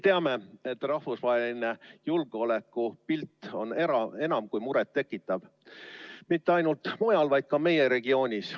Teame, et rahvusvaheline julgeolekupilt on enam kui muret tekitav mitte ainult mujal, vaid ka meie regioonis.